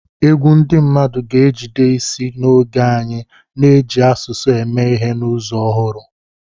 Egwu ndị mmadụ ga-ejide isi n'oge anyị, na-eji asụsụ eme ihe n'ụzọ ọhụrụ.